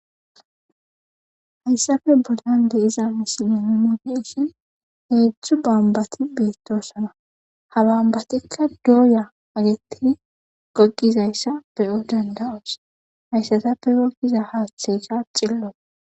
Hayssape bollan de7iza misilen nuuni be7ishin heedzdzu bombbathi beeththoosana; ha bombbathikka dooya uththidi goggizayssa be7o dandda7oos; hayssathappe goggiza haaththeykka xillo.